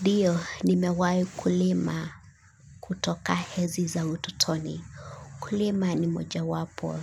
Ndiyo nimewahi kulima kutoka enzi za utotoni. Kulima ni moja wapo,